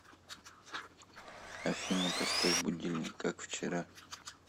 афина поставь будильник как вчера